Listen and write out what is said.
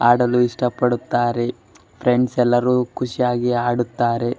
ಆಡಲು ಇಷ್ಟ ಪಡುತ್ತಾರೆ ಫ್ರೆಂಡ್ಸ್ ಎಲ್ಲರೂ ಖುಷಿಯಾಗಿ ಆಡುತ್ತಾರೆ --